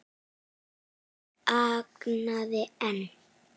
Hún þagði en